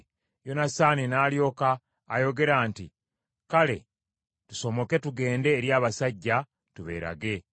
Yonasaani n’alyoka ayogera nti, “Kale, tusomoke tugende eri abasajja, tubeerage.